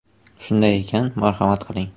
Shunday ekan, marhamat qiling!